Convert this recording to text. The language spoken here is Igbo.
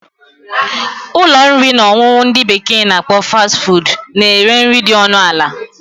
Ụlọ nri na ọṅụṅụ ndị bekee na akpọ 'Fast food' na ere nri dị ọnụ ala